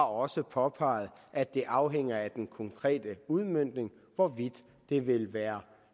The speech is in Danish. også påpeget at det afhænger af den konkrete udmøntning hvorvidt det vil være